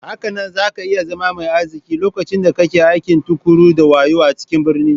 Hakanan zaka iya zama mai arziki lokacin da kake aiki tuƙuru da wayo a cikin birni.